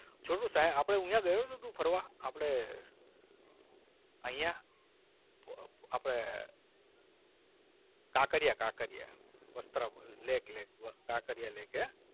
છોટુ સાય આપણે અહીંયા ગયો છે તું ફરવા આપણે અહીંયા આપણે Kankaria Kankaria Vastrapur lake lake Kankaria lake હે?